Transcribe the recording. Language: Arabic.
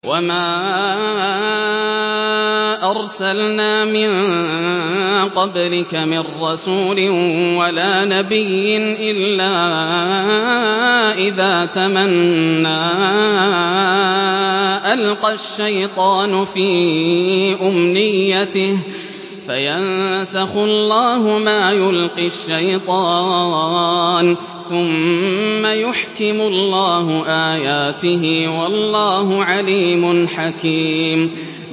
وَمَا أَرْسَلْنَا مِن قَبْلِكَ مِن رَّسُولٍ وَلَا نَبِيٍّ إِلَّا إِذَا تَمَنَّىٰ أَلْقَى الشَّيْطَانُ فِي أُمْنِيَّتِهِ فَيَنسَخُ اللَّهُ مَا يُلْقِي الشَّيْطَانُ ثُمَّ يُحْكِمُ اللَّهُ آيَاتِهِ ۗ وَاللَّهُ عَلِيمٌ حَكِيمٌ